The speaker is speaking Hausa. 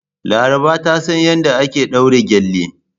Laraba ta san yadda ake daure gele.